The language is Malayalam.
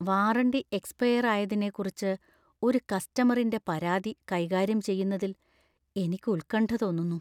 വാറന്റി എക്സ്പയർ ആയതിനെക്കുറിച്ച് ഒരു കസ്റ്റമറിന്‍റെ പരാതി കൈകാര്യം ചെയ്യുന്നതിൽ എനിക്ക് ഉത്കണ്ഠ തോന്നുന്നു.